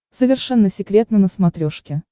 совершенно секретно на смотрешке